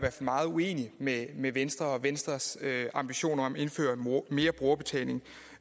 meget uenig med med venstre og i venstres ambitioner om at indføre mere brugerbetaling